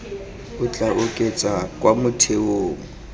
o tla oketsa kwa motheong